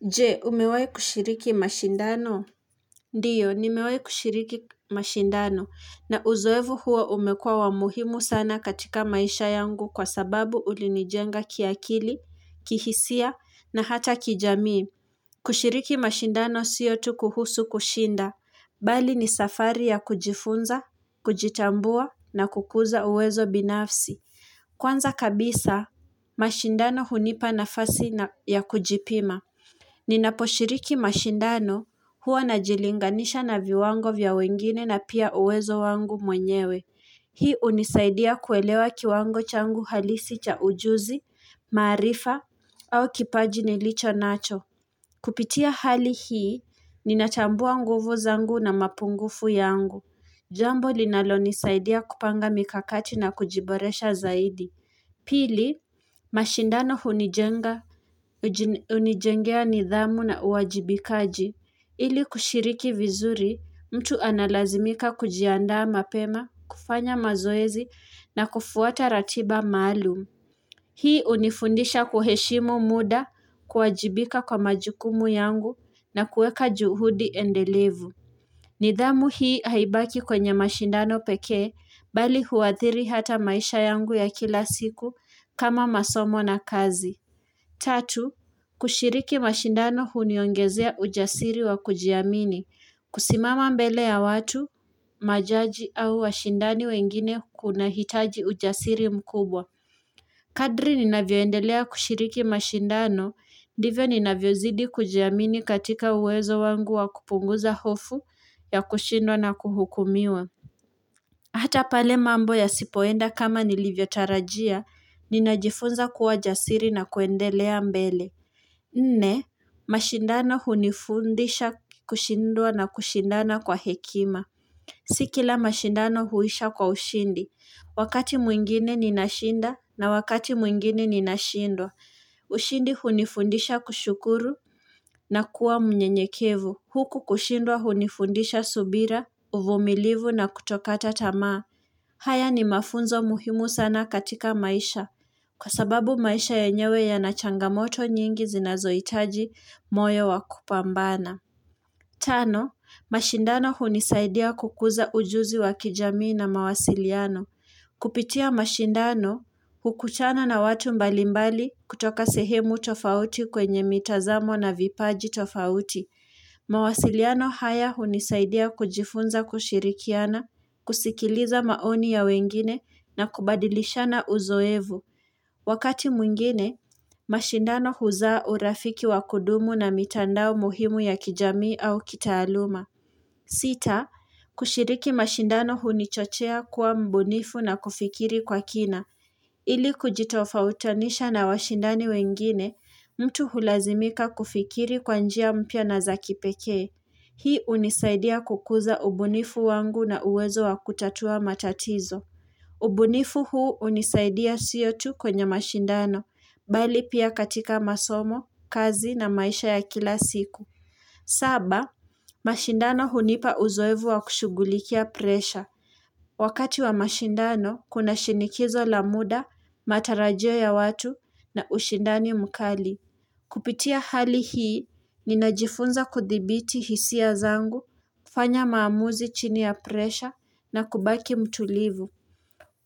Je, umewahi kushiriki mashindano? Ndiyo, nimewahi kushiriki mashindano na uzoevu huo umekuwa wa muhimu sana katika maisha yangu kwa sababu ulinijenga kiakili, kihisia na hata kijamii. Kushiriki mashindano siyo tu kuhusu kushinda, mbali ni safari ya kujifunza, kujitambua na kukuza uwezo binafsi. Kwanza kabisa, mashindano hunipa nafasi na ya kujipima. Ninaposhiriki mashindano huwa najilinganisha na viwango vya wengine na pia uwezo wangu mwenyewe. Hii hunisaidia kuelewa kiwango changu halisi cha ujuzi, maarifa au kipaji nilichonacho. Kupitia hali hii ninachambua nguvu zangu na mapungufu yangu. Jambo linalonisaidia kupanga mikakati na kujiboresha zaidi. Pili, mashindano hunijenga, hunijengea nidhamu na uwajibikaji, ili kushiriki vizuri mtu analazimika kujiandaa mapema, kufanya mazoezi na kufuata ratiba maalum. Hii hunifundisha kuheshimu muda, kuwajibika kwa majukumu yangu na kueka juhudi endelevu. Nidhamu hii haibaki kwenye mashindano pekee, mbali huathiri hata maisha yangu ya kila siku kama masomo na kazi. Tatu, kushiriki mashindano huniongezea ujasiri wa kujiamini. Kusimama mbele ya watu, majaji au washindani wengine kunahitaji ujasiri mkubwa. Kadri ninavyoendelea kushiriki mashindano, divyo ninavyozidi kujiamini katika uwezo wangu wa kupunguza hofu ya kushindwa na kuhukumiwa. Hata pale mambo yasipoenda kama nilivyotarajia, ninajifunza kuwa jasiri na kuendelea mbele. Nne, mashindano hunifundisha kushindwa na kushindana kwa hekima. Si kila mashindano huisha kwa ushindi. Wakati mwingine ninashinda na wakati mwingine ninashindwa. Ushindi hunifundisha kushukuru na kuwa mnyenyekevu. Huku kushindwa hunifundisha subira, uvumilivu na kutokata tamaa. Haya ni mafunzo muhimu sana katika maisha. Kwa sababu maisha yenyewe yana changamoto nyingi zinazohitaji moyo wakupambana. Tano, mashindano hunisaidia kukuza ujuzi wa kijamii na mawasiliano. Kupitia mashindano, hukuchana na watu mbalimbali kutoka sehemu tofauti kwenye mitazamo na vipaji tofauti. Mawasiliano haya hunisaidia kujifunza kushirikiana, kusikiliza maoni ya wengine na kubadilishana uzoevu. Wakati mwingine, mashindano huzaa urafiki wa kudumu na mitandao muhimu ya kijamii au kitaaluma. Sita, kushiriki mashindano hunichochea kuwa mbunifu na kufikiri kwa kina. Ili kujitofautanisha na washindani wengine, mtu hulazimika kufikiri kwa njia mpya na zakipekee. Hii hunisaidia kukuza ubunifu wangu na uwezo wa kutatua matatizo. Ubunifu huu hunisaidia siyo tu kwenye mashindano, mbali pia katika masomo, kazi na maisha ya kila siku. Saba, mashindano hunipa uzoevu wa kushugulikia presha. Wakati wa mashindano, kuna shinikizo la muda, matarajio ya watu na ushindani mkali. Kupitia hali hii, ninajifunza kuthibiti hisia zangu, kufanya maamuzi chini ya presha na kubaki mtulivu.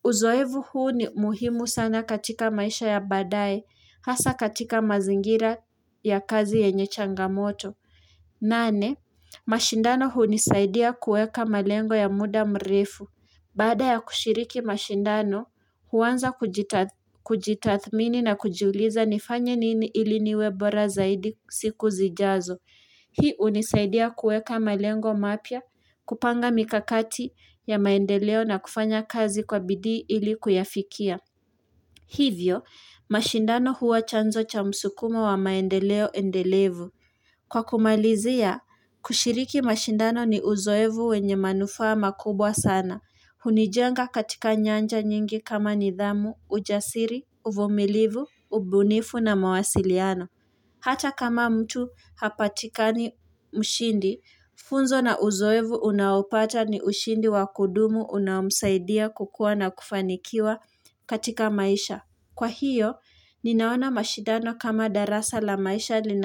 Uzoefu huu ni muhimu sana katika maisha ya badaye, hasa katika mazingira ya kazi yenye changamoto. Nane, mashindano hunisaidia kuweka malengo ya muda mrefu. Baada ya kushiriki mashindano, huanza kujitathmini na kujiuliza nifanye nini ili niwe bora zaidi siku zijazo. Hii hunisaidia kueka malengo mapya, kupanga mikakati ya maendeleo na kufanya kazi kwa bidi ili kuyafikia. Hivyo, mashindano huwa chanzo cha msukumo wa maendeleo endelevu. Kwa kumalizia, kushiriki mashindano ni uzoefu wenye manufaa makubwa sana. Hunijenga katika nyanja nyingi kama nidhamu, ujasiri, uvumilivu, ubunifu na mawasiliano. Hata kama mtu hapatikani mshindi, funzo na uzoefu unaopata ni ushindi wa kudumu unamsaidia kukua na kufanikiwa katika maisha. Kwa hiyo, ninaona mashindano kama darasa la maisha lina.